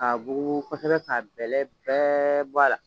Ka bugu kosɛbɛ k'a bɛlɛ bɛɛ bɔ a la.